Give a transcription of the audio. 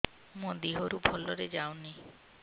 ମୋ ଦିହରୁ ଭଲରେ ଯାଉନି